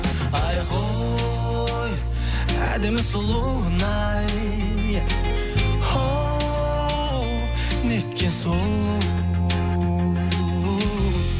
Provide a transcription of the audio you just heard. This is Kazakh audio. айхой әдемі сұлуын ай оу неткен сұлу